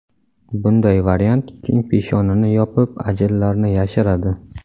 Bunday variant keng peshonani yopib, ajinlarni yashiradi.